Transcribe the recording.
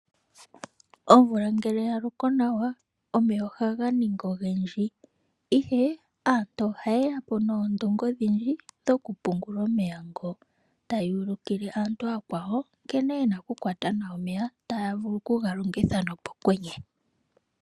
Omvula ngele ya loko nawa, omeya oha ga ningi ogendji ihe aantu oha ye yapo nondunge odhindji dhoku pungula omeya ngono. Taya uli kile aantu oya kwaawo nkene yena oku kwata nawa omeya, opo ya vule oku ga longitha nomokwenye.